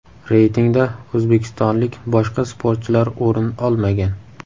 Reytingda o‘zbekistonlik boshqa sportchilar o‘rin olmagan.